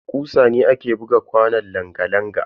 Da kusa ne ake buga kwanon langa-langa.